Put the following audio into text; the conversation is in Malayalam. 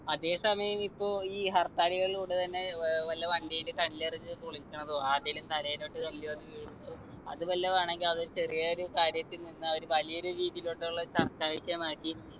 അതെ സമയം ഇപ്പൊ ഈ ഹർത്താലികളിലൂടെ തന്നെ ഏർ വല്ല വണ്ടില് കല്ലെറിഞ്ഞ് പൊളിക്കണതോ ആരുടേലും തലേലോട്ട് കല്ലെറിഞ്ഞ് വീഴ്ന്നതും അത് വല്ലതും ആണെങ്കി അതൊര് ചെറിയൊരു കാര്യത്തിൽ നിന്ന് ഒരു വലിയൊരു രീതീലോട്ടുള്ള ചർച്ചാവിഷയമാക്കി